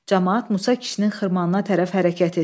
Camaat Musa kişinin xırmanına tərəf hərəkət etdi.